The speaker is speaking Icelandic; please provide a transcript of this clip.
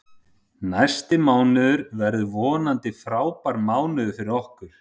Næsti mánuður verður vonandi frábær mánuður fyrir okkur.